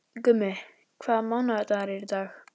Gummi, hvaða mánaðardagur er í dag?